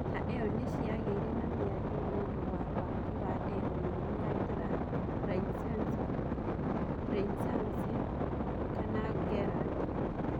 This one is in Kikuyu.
Ngahiha iyo niciageire na miario niũndũ wa waki wa demu nene ya Gran Rainissance Renaissance (Gerd)